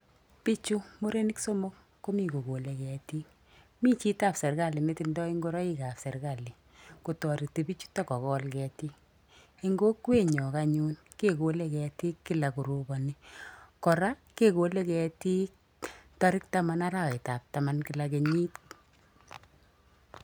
Bichu murenik somok komi kokole ketiik. Mi chito ap serikali ne tindoi ngoroikap serikali kotoreti bichutok kokol ketiik. Eng kokwenyo anyun kekole ketiik kila koroponi. Kora kekole ketiik tarik taman arawetap taman kila kenyit.